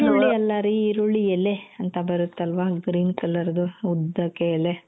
ಈರುಳ್ಳಿ ಅಲ್ಲಾ ರೀ ಈರುಳ್ಳಿ ಎಲೆ ಅಂತ ಬರುತ್ತಲ್ವಾ green color ದು ಉದ್ದಕೆ ಎಲೆ.